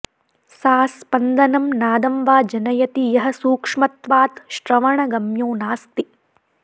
सा स्पन्दनं नादं वा जनयति यः सूक्ष्मत्वात् श्रवणगम्यो नास्ति